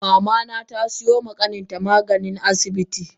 Mamana tasiyoma kaninta magani a asibi.